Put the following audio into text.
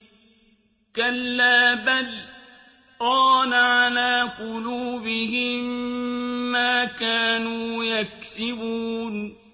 كَلَّا ۖ بَلْ ۜ رَانَ عَلَىٰ قُلُوبِهِم مَّا كَانُوا يَكْسِبُونَ